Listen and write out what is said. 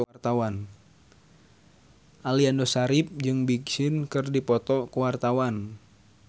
Aliando Syarif jeung Big Sean keur dipoto ku wartawan